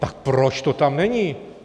Tak proč to tam není?